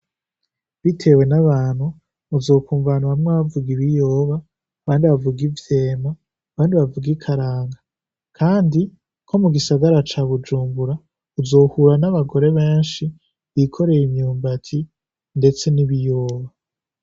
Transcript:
Bitewe n'abantu, uzokwumva bamwe bavuga ibiyoba, abandi bavuga ivyema, abandi bavuga ikaranga. Kandi, nko mu gisagara ca Bujumbura, uzohura n'abagore benshi bikoreye imyumbati ndetse n'ibiyoba.